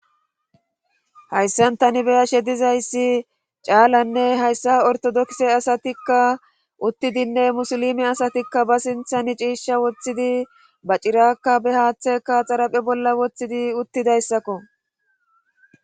hayssan tani beyashe dizayssi caalanne hayssa ortodokse asatikka uttidinne musulime asatikka ba sinthani ciisha woththidi ba cirakka be haaththeka xaraphe bolla woththidi uttidayssakko